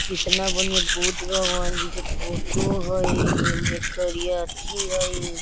कितना बढ़िया बुद्ध भगवान जी के फोटो हई इने करिया अथी हई।